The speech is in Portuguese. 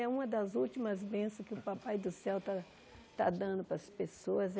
É uma das últimas benções que o Papai do Céu está está dando para as pessoas é